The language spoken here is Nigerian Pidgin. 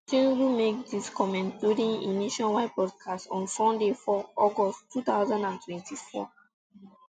tinubu make dis comments during e nationwide broadcast on sunday four august two thousand and twenty-four